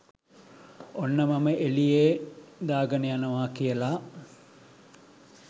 "ඔන්න මම එලියේ දාගන යනවා! " කියලා.